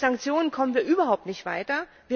Mit Sanktionen kommen wir überhaupt nicht weiter.